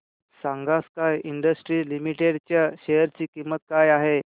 सांगा sky industries limited च्या share ची किंमत काय आहे